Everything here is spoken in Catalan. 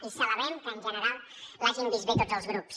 i celebrem que en general l’hagin vist bé tots els grups